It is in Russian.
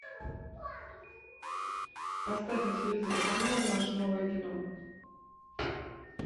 поставь на телевизоре канал наше новое кино